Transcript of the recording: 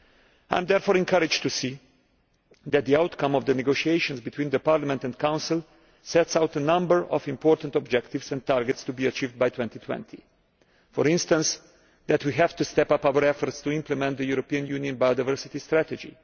I am therefore encouraged to see that the outcome of the negotiations between Parliament and the Council sets out a number of important objectives and targets to be achieved by 2020, for instance that we have to step up our efforts to implement the European Union biodiversity strategy.